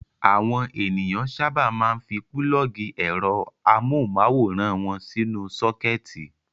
Àwọn ènìyàn sábà máa ń fi pulọ́ọ́gì ẹ̀rọ amóhùmáwòhán wọn sínú sọ́kẹ́tì.